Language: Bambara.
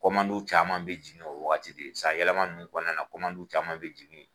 caman bɛ jigi o waagati de ye san yɛlɛma nunnu kɔnɔna na caman bɛ jigi ye